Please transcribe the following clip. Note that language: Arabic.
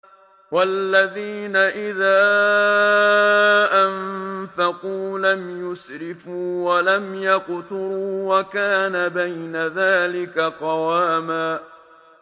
وَالَّذِينَ إِذَا أَنفَقُوا لَمْ يُسْرِفُوا وَلَمْ يَقْتُرُوا وَكَانَ بَيْنَ ذَٰلِكَ قَوَامًا